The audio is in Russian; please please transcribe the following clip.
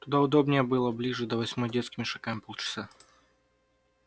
туда удобнее было бы ближе до восьмой детскими шагами полчаса